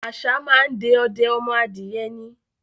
Àṣá máa ń de ọdẹ ọmọ adìẹ ni.